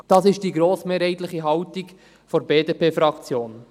Das ist die grossmehrheitliche Haltung der BDP-Fraktion.